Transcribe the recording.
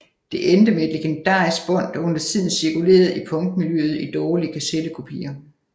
Det endte med et legendarisk bånd der undertiden cirkulerede i punkmiljøet i dårlige kassettekopier